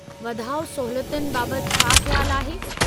वाधाउ सहूलियतुनि बाबति छा ख़्यालु आहे?